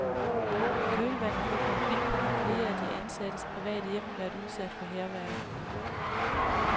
I kølvandet på konflikten har flere af de ansattes private hjem været udsat for hærværk.